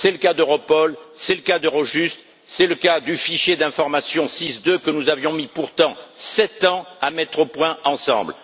C'est le cas d'Europol, c'est le cas d'Eurojust, c'est le cas du fichier d'informations SIS II, que nous avions mis pourtant sept ans à mettre au point ensemble.